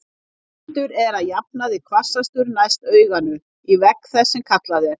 Vindur er að jafnaði hvassastur næst auganu, í vegg þess, sem kallað er.